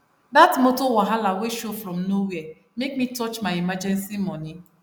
dat motor wahala wey show from nowhere make me touch my emergency money